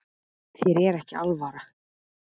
Þér er ekki alvara